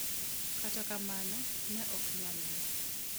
Kata kamano, ne ok nyalre.